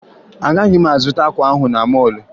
Agaghị m azụta akwa na mọọlụ ahụ